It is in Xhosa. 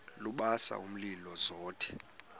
lubasa umlilo zothe